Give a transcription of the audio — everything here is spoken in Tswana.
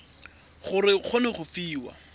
gore o kgone go fiwa